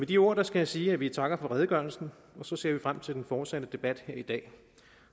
de ord skal jeg sige at vi takker for redegørelsen og så ser vi frem til den fortsatte debat her i dag